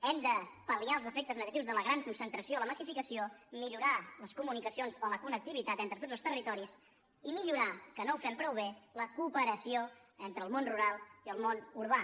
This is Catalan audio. hem de pal·liar els efectes negatius de la gran concentració o la massificació millorar les comunicacions o la connectivitat entre tots els territoris i millorar que no ho fem prou bé la cooperació entre el món rural i el món urbà